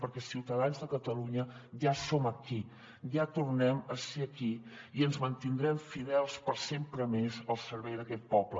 perquè ciutadans de catalunya ja som aquí ja tornem a ser aquí i ens mantindrem fidels per sempre més al servei d’aquest poble